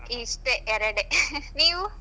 ಇಷ್ಟೇ ಎರಡೇ ನೀವು ?